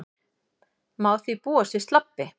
Má því búast við slabbi